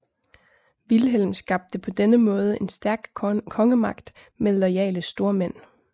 Vilhelm skabte på denne måde en stærk kongemagt med loyale stormænd